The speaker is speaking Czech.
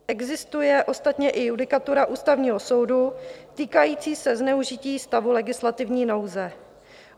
Existuje ostatně i judikatura Ústavního soudu týkající se zneužití stavu legislativní nouze.